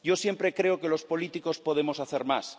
Yo siempre creo que los políticos podemos hacer más.